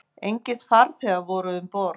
Engir farþegar voru um borð